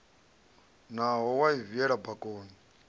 naho wa i viela bakoni